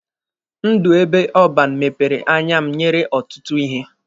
Ndụ ebe ọban mepere anya m nyere ọtụtụ ihe.